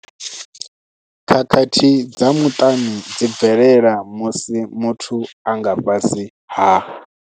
Khakhathi dza muṱani dzi bvelela musi muthu a nga fhasi ha